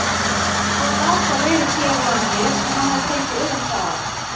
Hvað gat það verið hér á landi sem hann hafði fengið augastað á?